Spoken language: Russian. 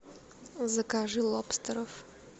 закажи лобстеров